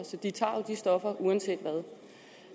så de tager jo de stoffer uanset hvad